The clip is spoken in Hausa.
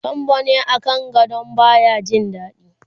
sambo ne a kan gadon baya Jin daɗi